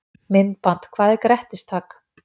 Myndband Hvað er grettistak?